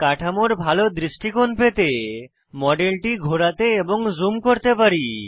কাঠামোর ভাল দৃষ্টিকোণ পেতে মডেলটি ঘোরাতে এবং জুম করতে পারি